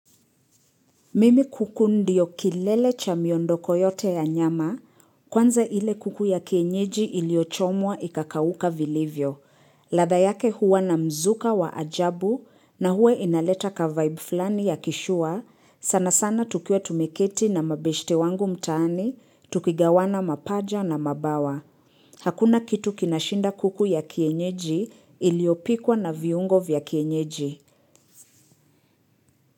Mimi kuku ndiyo kilele cha miondoko yote ya nyama, kwanza ile kuku ya kienyeji iliochomwa ikakawuka vilivyo. Ladha yake huwa na mzuka wa ajabu na huwe inaleta ka vibe flani ya kishua, sana sana tukiwa tumeketi na mabeshte wangu mtaani, tukigawana mapaja na mabawa. Hakuna kitu kinashinda kuku ya kienyeji iliopikwa na viungo vya kienyeji.